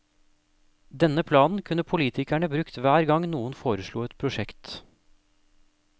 Denne planen kunne politikerne brukt hver gang noen foreslo et prosjekt.